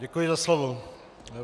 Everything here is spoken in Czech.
Děkuji za slovo.